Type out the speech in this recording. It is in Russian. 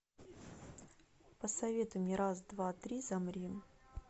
посоветуй мне раз два три замри